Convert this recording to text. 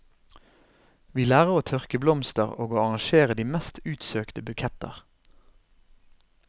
Vi lærer å tørke blomster og å arrangere de mest utsøkte buketter.